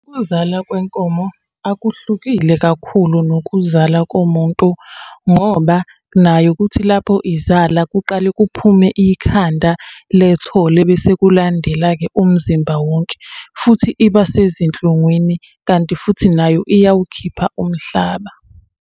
Ukuzala kwenkomo akuhlukile kakhulu nokuzala komuntu, ngoba nayo kuthi lapho izala kuqale kuphume ikhanda lethole, bese kulandela-ke umzimba wonke, futhi iba sezinhlungwini, kanti futhi nayo iyawukhipha umhlaba.